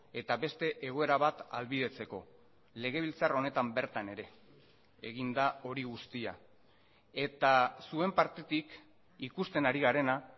eta beste egoera bat ahalbidetzeko legebiltzar honetan bertan ere egin da hori guztia eta zuen partetik ikusten ari garena